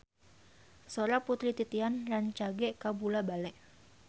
Sora Putri Titian rancage kabula-bale